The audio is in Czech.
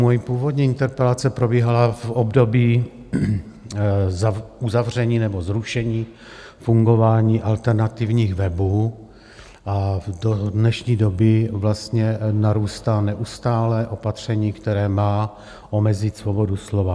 Moje úvodní interpelace probíhala v období uzavření nebo zrušení fungování alternativních webů a do dnešní doby narůstá neustále opatření, které má omezit svobodu slova.